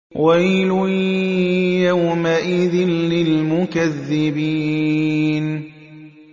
وَيْلٌ يَوْمَئِذٍ لِّلْمُكَذِّبِينَ